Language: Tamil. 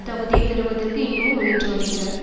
தகுதியை பெறுவதற்கு இன்னமும் முயன்று வருகிறார்